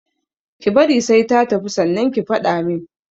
Ki bari sai ta tafi sannan ki faɗa min